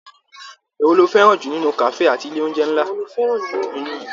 Èwo ló fẹràn nínú kafe àti ilé oúnjẹ nlá?